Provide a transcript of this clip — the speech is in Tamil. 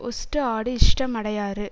ஹொஸ்ட் ஆடு இஷ்டம் அடையாறு